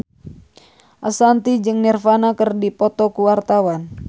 Ashanti jeung Nirvana keur dipoto ku wartawan